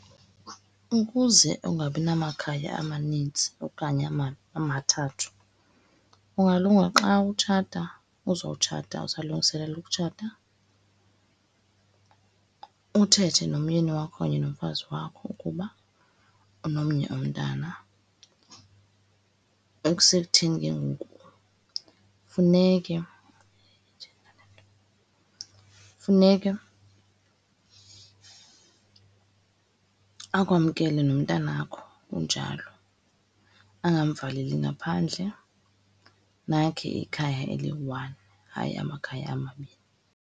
Ukuze ungabi namakhaya amanintsi okanye amathathu, kungalunga xa utshata, uzotshata, uzawulungiselela utshata, uthethe nomyeni wakho okanye nomfazi wakho ukuba unomnye umntana. Ekusekutheni ke ngoku, funeke funeke akwamkele nomntanakho unjalo, angamvaleli ngaphandle, nakhe ikhaya eliyi-one, hayi amakhaya amabini.